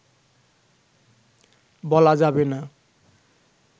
বলা যাবে না